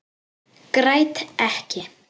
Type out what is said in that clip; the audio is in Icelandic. Græt ekki.